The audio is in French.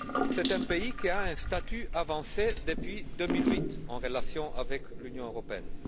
C'est un pays qui a un statut avancé depuis 2008, en relation avec l'Union européenne.